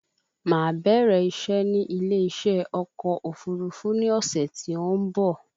Máa bẹ̀rẹ̀ ìṣé ní ilé ìṣe ọkọ̀ òfúrufú ní ọ̀sẹ̀ tí ó ń bọ̀